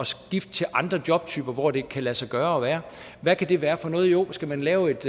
skifte til andre jobtyper hvor det kan lade sig gøre at være hvad kan det være for noget jo skal man lave et